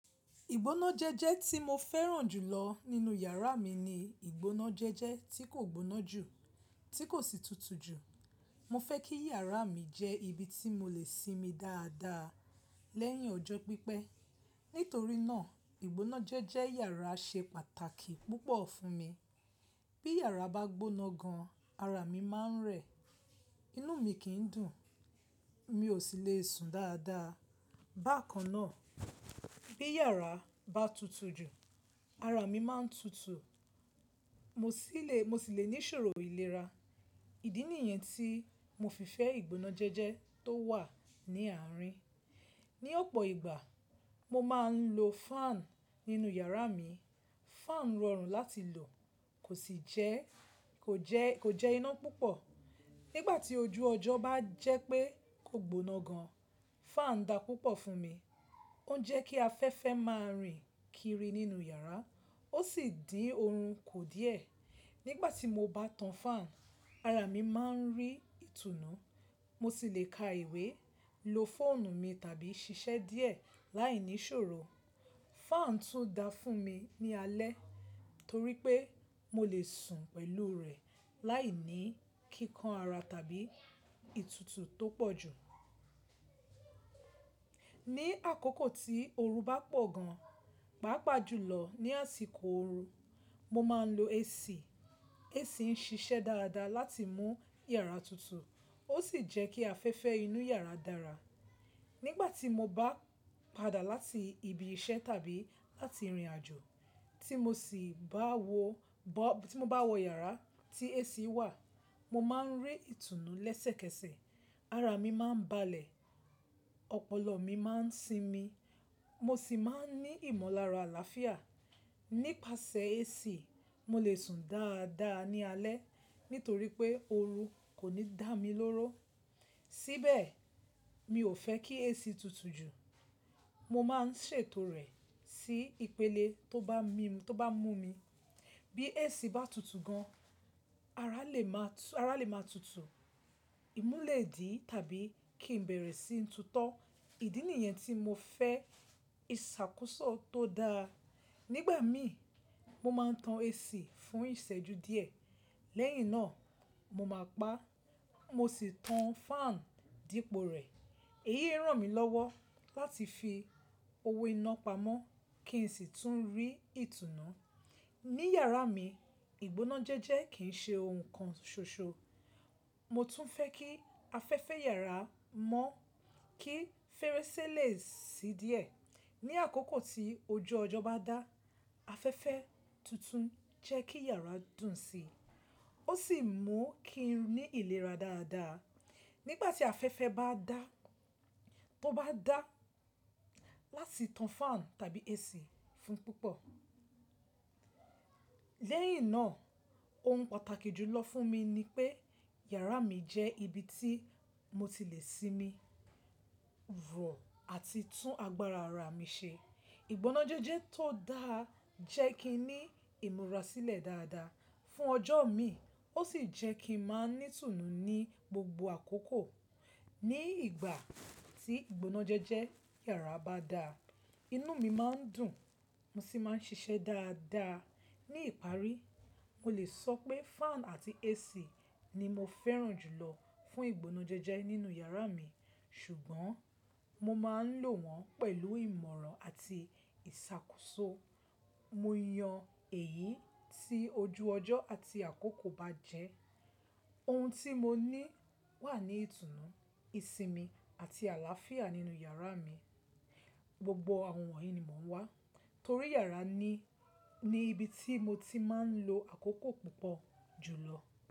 Ìgbónájẹ́jẹ́ tí mo fẹ́ràn jùlọ nínú yàrá mi ni ìgbónájẹ́jẹ́ tí kò gboná jù, tí kò sì tutu jù. Mo fẹ́ kí yàrá mi jẹ́ ibi tí mo lè sinmi dáadáa lẹ́yìn ọjọ́ pípẹ́. Nítorí náà, ìgbónájẹ́jẹ́ yàrá ṣe pàtàkì púpọ̀ fún mi. Bí yàrá bá gboná gan, ara mi máa ń rẹ̀, inú mi kì ń dùn, mi ò sì lè sùn dáadáa. Bákan náà, bí yàrá bá tutu jù, ara mi máa ń tutu, mo sì lè, mo sì lè ní ìṣòro ìlera. Ìdí nìyẹn tí mo fi fẹ́ ìgbónájẹ́jẹ́ tó wà ní àárín. Ni ọ̀pọ̀ ìgbà, mo máa ń lo fan nínú yàrá mi. Fan rọrùn láti lò, kò sì jẹ́, kò jẹ́, kò jẹ́ iná púpọ̀. Nígbà tí ojú ọjọ́ bá jẹ́ pé kò gboná gan, fan dà púpọ̀ fún mi. Ó ń jẹ́ kí afẹ́fẹ́ máa rìn kiri nínú yàrá, ó sì dín oorun kù díẹ̀. Nígbà tí mo bá tan fan, ara mi máa ń rí ìtùnú, mo sì lè ka ìwé, lo fóònù mi tàbí ṣiṣẹ́ díẹ̀ láìní ìṣòro. Fan tún dà fún mi ní alẹ́ torí pé mo lè sùn pẹ̀lú rẹ̀ láìní kíkan ara tàbí ìtutu tó pọ̀ jù. Ní àkókò tí ooru bá pọ̀ gan, pàápàá jùlọ ní àsìkò ooru, mo máa ń lo AC. AC ń ṣiṣẹ́ dáadáa láti mú yàrá tutu, ó sì jẹ́ kí afẹ́fẹ́ inú yàrá dára. Nígbà tí mo bá padà láti ibi iṣẹ́ tàbí láti ìrìnàjò tí mo sì bá wọ, bá, tí mo bá wọ yàrá tí AC wà, mo máa ń rí ìtùnú lẹ́sẹ̀kẹsẹ̀. Ara mi máa ń balẹ̀, ọpọlọ mi máa ń sinmi, mo sì máa ń ní ìmọ̀lára àlàáfíà. Nípasẹ̀ AC, mo lè sùn dáadáa ní alẹ́ nítorí pé ooru kò ní dà mí lóró. Síbẹ̀, mi ò fẹ́ kí AC tutu jù. Mo máa ń ṣètò rẹ̀ sí ìpele tó bá mi, tó bá mú mi. Bí AC bá tutu gan, ara lè máa tú, ara lè máa tutu, ìmú lè dí tàbí kí n bẹ̀rẹ̀ síi tutọ́. Ìdí nìyẹn tí mo fẹ́ ìṣàkóso tó dáa. Nígbà mi, mo máa ń tan AC fún ìṣẹ́ju díẹ̀. Lẹ́yìn náà, mo máa paá, mo sì tan fan dípò rẹ̀. Èyí ń ràn mí lọ́wọ́ láti fi owó iná pamọ́ kí n sì tún rí ìtùnú. Ní yàrá mi, ìgbónájẹ́jẹ́ kì ń ṣe ohun kan ṣoṣo. Mo tún fẹ́ kí afẹ́fẹ́ yàrá mọ́ kí férésé lè ṣí díẹ̀. Ní àkókò tí ojú ọjọ́ bá dá, afẹ́fẹ́ tuntun jẹ́ kí yàrá dùn si, ó sì mú kí n ní ìlera dáadáa. Nígbà tí afẹ́fẹ́ bá dá, tó bá dá, láti tan fan tàbí AC fún púpọ̀. Lẹ́yìn náà, ohun pàtàkì jùlọ fún mi ni pé yàrá mi jẹ́ ibi tí mo ti lè sinmi, rọ̀ àti tún agbára ara mi ṣe. Ìgbónájẹ́jẹ́ tó dáa jẹ́ kí n ní ìmúra sílẹ̀ dáadáa fún ọjọ́ mí ì, ó sì jẹ́ kí n máa ní ìtùnú ní gbogbo àkókò. Ní ìgbà tí ìgbónájẹ́jẹ́ yàrá bá dá, inú mi máa ń dùn, mo sì máa ń ṣiṣẹ́ dáadáa. Ní ìparí, mo lè sọ pé fan àti AC ni mo fẹ́ràn jùlọ fún ìgbónájẹ́jẹ́ nínú yàrá mi, ṣùgbọ́n mo máa ń lò wọ́n pẹ̀lú ìmọ̀ràn àti ìṣàkóso. Mo yàn èyí tí ojú ọjọ́ àti àkókò bá jẹ́. Ohun tí mo ní wà ní ìtùnú, ìsinmi àti àlàáfíà nínú yàrá mi. Gbogbo àwọn wọ̀nyí ni mò ń wá torí yàrá ni, ni ibi tí mo ti máa ń lo àkókò púpọ̀ jùlọ.